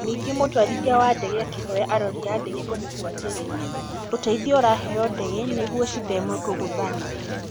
Nĩngi mũtwarithia wa ndege akihoya arori a ndege kũmũbuatĩrĩra, uteithio uraheo ndege nĩguo cithemwo kũgũthana